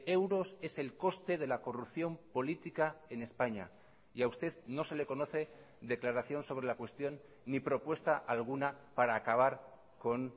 euros es el coste de la corrupción política en españa y a usted no se le conoce declaración sobre la cuestión ni propuesta alguna para acabar con